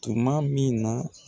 Tumamin na